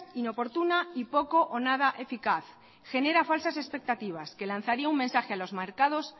inoportuna y poco o nada eficaz genera falsas expectativas que lanzaría un mensaje a los mercados